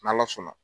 N'ala sɔnna